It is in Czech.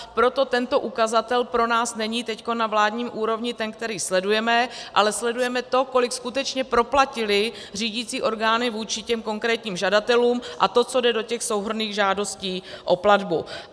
Proto tento ukazatel pro nás není teď na vládní úrovni ten, který sledujeme, ale sledujeme to, kolik skutečně proplatily řídicí orgány vůči těm konkrétním žadatelům, a to, co jde do těch souhrnných žádostí o platbu.